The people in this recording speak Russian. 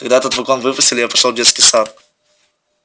когда этот вагон выпустили я пошёл в детский сад